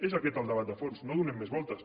és aquest el debat de fons no hi donem més voltes